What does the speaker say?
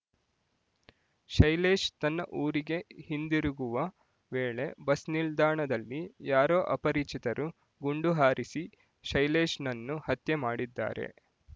ಶೈಲೇಶ್ ತನ್ನ ಊರಿಗೆ ಹಿಂದಿರುಗುವ ವೇಳೆ ಬಸ್ ನಿಲ್ದಾಣದಲ್ಲಿ ಯಾರೋ ಅಪರಿಚಿತರು ಗುಂಡು ಹಾರಿಸಿ ಶೈಲೇಶ್‌ನನ್ನು ಹತ್ಯೆ ಮಾಡಿದ್ದಾರೆ